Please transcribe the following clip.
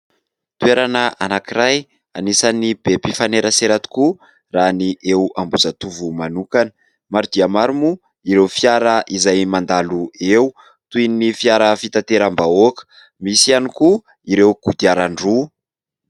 Toerana anankiray anisan'ny be mpifanerasera tokoa raha ny eo Ambohijatovo manokana. Maro dia maro moa ireo fiara izay mandalo eo, toy ny fiara fitanteram-bahoaka, misy ihany koa ireo kodiaran-droa.